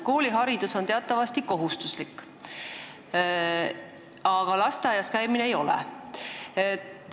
Kooliharidus on meil teatavasti kohustuslik, aga lasteaias käimine ei ole.